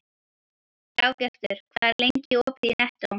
Dagbjartur, hvað er lengi opið í Nettó?